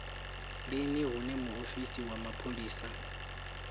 lini hune muofisi wa mapholisa